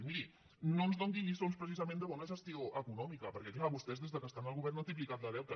i miri no ens doni lliçons precisament de bona gestió econòmica perquè és clar vostès des que estan al govern han triplicat el deute